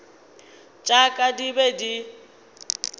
tša ka di be di